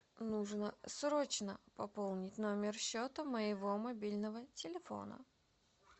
нужно срочно пополнить номер счета моего мобильного телефона